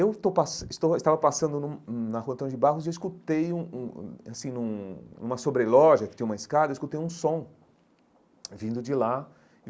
Eu estou passan estou estava passando num hum na Rua Antônio de Barros e eu escutei um um um, assim, num numa sobreloja, que tinha uma escada, eu escutei um som vindo de lá.